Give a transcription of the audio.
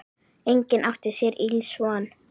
Enginn átti sér ills von.